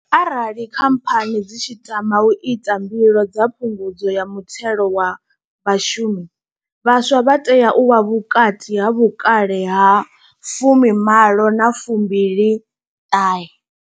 Arali khamphani dzi tshi tama u ita mbilo dza Phungudzo ya muthelo wa vhashumi, vhaswa vha tea u vha vhukati ha vhukale ha 18 na 29.